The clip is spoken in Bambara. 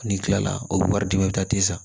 N'i kilala o bɛ wari di ma i bɛ taa ten sa